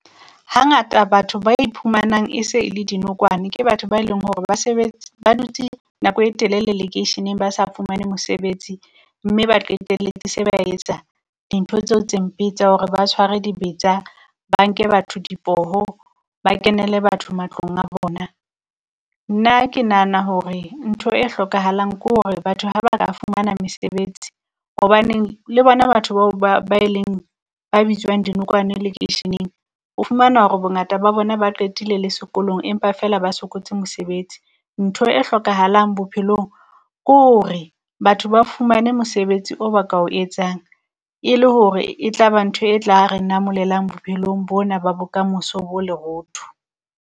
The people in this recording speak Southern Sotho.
Hangata batho ba iphumanang e se e le dinokwane ke batho ba leng hore ba dutse nako e telele lekeisheneng ba sa fumane mosebetsi, mme ba qetelletse se ba etsa dintho tseo tse mpe tsa hore ba tshware dibetsa, ba nke batho dipoho, ba kenele batho matlong a bona. Nna ke nahana hore ntho e hlokahalang kore batho ha ba ka fumana mesebetsi, hobaneng le bona batho bao ba ba e leng ba bitswang dinokwane lekeisheneng, o fumana hore bongata ba bona ba qetile le sekolong, empa fela ba sokotse mosebetsi. Ntho e hlokahalang bophelong kore batho ba fumane mosebetsi o ba ka o etsang, e le hore e tlaba ntho e tla re namolelang bophelong bona, ba bokamoso bo lerootho.